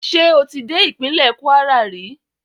Ṣé o ti dé ìpínlẹ̀ Kwara rí?